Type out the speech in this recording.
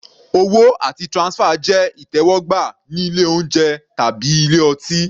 Owó àti transfer jẹ́ ìtẹ́wọ́gbà ní ilé oúnjẹ/ ilé ọtí.